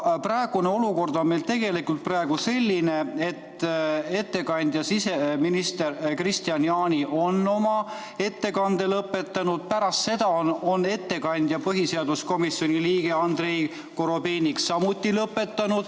Aga praegune olukord on meil tegelikult selline, et ettekandja, siseminister Kristian Jaani on oma ettekande lõpetanud, pärast seda on ettekandja, põhiseaduskomisjoni liige Andrei Korobeinik samuti lõpetanud.